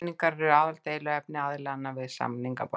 Peningar eru aðaldeiluefni aðilanna við samningaborðið